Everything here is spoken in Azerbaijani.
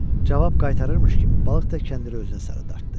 Cavab qaytarırmış kimi, balıq da kəndiri özünə sarı dartdı.